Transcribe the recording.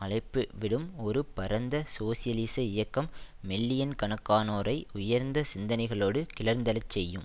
அழைப்புவிடும் ஒரு பரந்த சோசியலிச இயக்கம் மில்லியன்கணக்கானோரை உயர்ந்த சிந்தனைகளோடு கிளர்ந்தெழச்செய்யும்